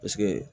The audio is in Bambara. Paseke